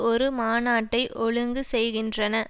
ஒரு மாநாட்டை ஒழுங்கு செய்கின்றன